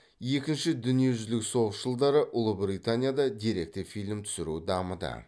екінші дүниежүзілік соғыс жылдары ұлыбританияда деректі фильм түсіру дамыды